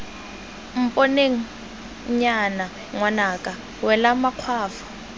mponeng nnyaya ngwanaka wela makgwafo